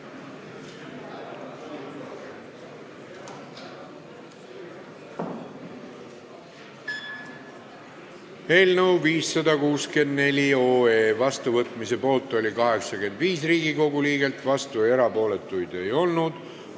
Hääletustulemused Eelnõu 564 vastuvõtmise poolt oli 85 Riigikogu liiget, vastu või erapooletu ei olnud keegi.